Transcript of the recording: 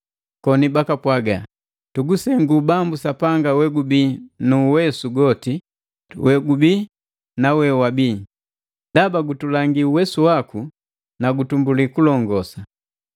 koni bakapwaga, “Tugusengu Bambu Sapanga Wegubii na Uwesu goti, wegubii na wewabi! Ndaba gutulangi uwesu waku na gutumbuli kulongosa!